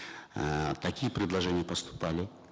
э такие предложения поступали